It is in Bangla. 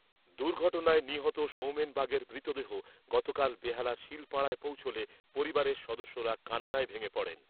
দুর্ঘটনায় নিহত সৌমেন বাগের মৃতদেহ গতকাল বেহালার শীলপাড়ায় পৌঁছলে পরিবারের সদস্যরা কান্নায় ভেঙে পড়েন ।